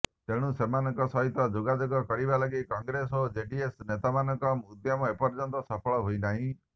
ତେଣୁ ସେମାନଙ୍କ ସହିତ ଯୋଗାେଯାଗ କରିବା ଲାଗି କଂଗ୍ରେସ ଓ ଜେଡିଏସ୍ ନେତାମାନଙ୍କ ଉଦ୍ୟମ ଏପର୍ଯ୍ୟନ୍ତ ସଫଳ ହୋଇନାହିଁ